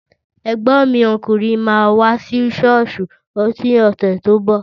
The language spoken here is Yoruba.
Ẹ̀gbọ́n mi ọkùnrin máa wá sí ṣọ́ọ̀ṣì lọ́sẹ̀ tó ń bọ̀